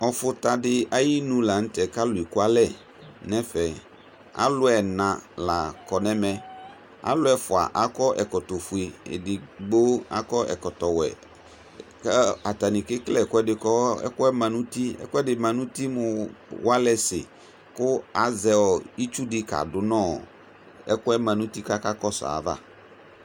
ɔfωtɑɗi ɑyiṇu lɑnutɛ kɑlʊɛkulɛɲɛfɛ ɑluéṅɑ lɑkɔɲɛ ɑlu ɛfωɑ ɑkɔ ɛkɔtõfωɛ kω ɛɗigbo ɑkɔɛkɔto wé kuɑtɑni kɛkɛlé ɛkuɛdi mɑnuti mωwɑlɛsi ku ɑzɛ ịtsuɗi kɑdunɔ ɛkuɛ mɑnuti kɑkɑkɔsω ɑyɑvɑ